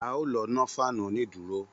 A ó lọ nọ́ fáànù onídùúró